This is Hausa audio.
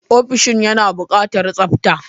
Ofishin yana buƙatar tsabta.